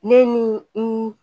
Ne ni n